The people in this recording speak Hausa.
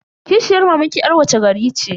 Kishiyar mamanki yar wace gari ce?